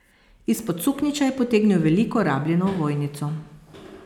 Izpod suknjiča je potegnil veliko rabljeno ovojnico.